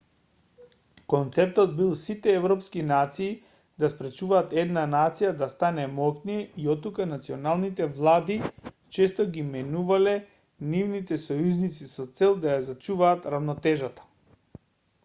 концептот бил сите европски нации да спречуваат една нација да стане моќна и оттука националните влади често ги менувале нивните сојузници со цел да ја зачуваат рамнотежата